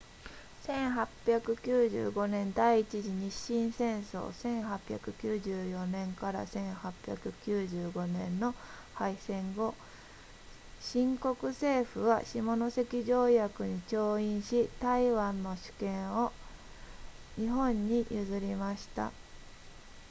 1895年第一次日清戦争1894年 ～1895 年の敗戦後清国政府は下関条約に調印し台湾の主権を日本に譲りました